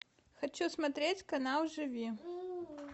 хочу смотреть канал живи